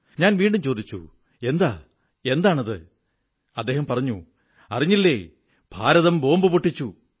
ഞാൻ വീണ്ടും ചോദിച്ചു എന്താ എന്താണ് പറഞ്ഞു അറിഞ്ഞില്ലേ ഭാരതം ബോംബു പൊട്ടിച്ചു